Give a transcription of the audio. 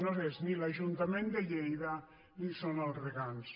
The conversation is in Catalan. no és ni l’ajuntament de lleida ni són els regants